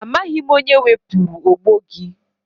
Amaghị m onye wepụrụ ogbo gị.